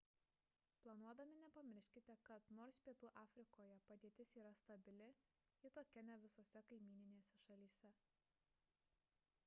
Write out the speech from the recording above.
planuodami nepamirškite kad nors pietų afrikoje padėtis yra stabili ji tokia ne visose kaimyninėse šalyse